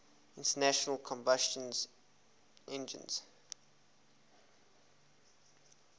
internal combustion engines